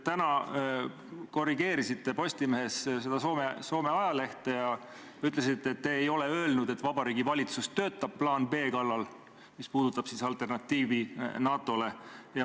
Täna korrigeerisite Postimehes seda Soome ajalehte ja ütlesite, et te ei ole öelnud, et Vabariigi Valitsus töötab plaan B kallal, mis puudutab alternatiivi NATO-le.